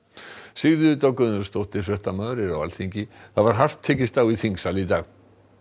Sigríður Dögg Auðunsdóttir fréttamaður er á Alþingi var hart tekist á í þingsal í dag